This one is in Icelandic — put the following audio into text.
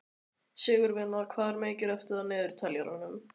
Sigurvina, hvað er mikið eftir af niðurteljaranum?